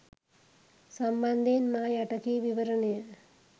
සම්බන්ධයෙන් මා යට කී විවරණය